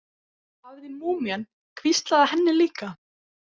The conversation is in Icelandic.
Hafði múmían hvíslað að henni líka?